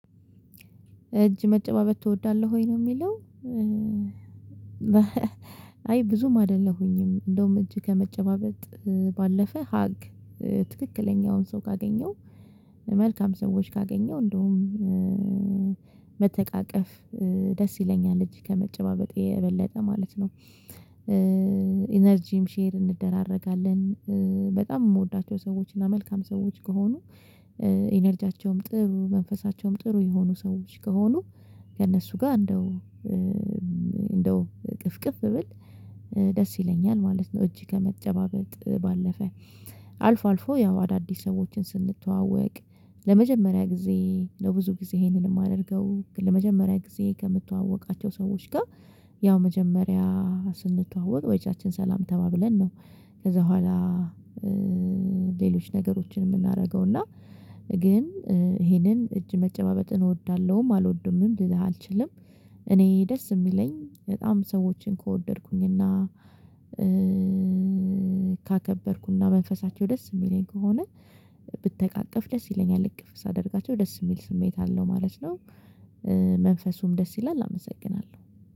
እጅ መጨባበት ትወዳለህ ወይ? ነው የሚለው አይ ብዙም አይደለሁኝም፤ እንደውም እጅ ከመጨባበጥ ባለፈ ሀግ ትክክለኛውን ሰው ካገኘው፤ መልካም ሰዎች ካገኘው፤ እንደውም መተቃቀፍ ደስ ይለኛል እጅ ከመጨባበጥ የበለጠ ማለት ነው። ኢነርጂም ሼር እንደራረጋለን። በጣም የምወዳቸው ሰዎች እና መልካም ሰዎች ከሆኑ፤ ኢነርጂያቸውም ጥሩ፤ መንፈሳቸውም ጥሩ፤ የሆኑ ሰዎች ከሆኑ ከእነሱ ጋር፤ እንደው እንደው እቅፍቅፍ ብል ደስ ይለኛል ማለት ነው እጅ ከመጨባበጥ ባለፈ። አልፎ አልፎ ያው አዳዲስ ሰዎችን ስንተዋወቅ፤ ለመጀመሪያ ጊዜ ለብዙ ጊዜ ይሄንን የማደርገው፤ ለመጀመሪያ ጊዜ ከምትተዋወቃቸው ሰዎች ጋር፤ ያው መጀመሪያ ስንተዋወቅ በእጃችን ሰላም ተባብለን ነው። ከዛ በኋላ ነገሮችን የምናደርገው፤ እና ግን ይሄንን እጅ መጨባበጥን እወዳለሁም አልወደውምም ልልህ አልችልም። እኔ ደስ የሚለኝ በጣም ሰዎችን ከወደድኩኝ እና ካከበርኩና መንፈሳቸው ደስ የሚለኝ ከሆነ ብትቃቀፍ ደስ ይለኛል፤ ልክ እቅፍ ሳደርጋቸው ደስ የሚል ስሜት አለው ማለት ነው። መንፈሱም ደስ ይላል አመሰግናለሁ።